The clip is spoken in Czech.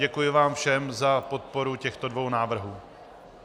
Děkuji vám všem za podporu těchto dvou návrhů.